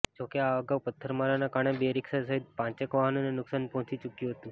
જો કે આ અગાઉ પથ્થરમારાના કારણે બે રિક્ષા સહિત પાંચેક વાહનોને નુકસાન પહોંચી ચૂક્યું હતું